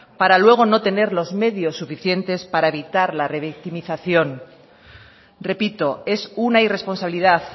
para luego no tener los medios suficientes para evitar la revictimización repito es una irresponsabilidad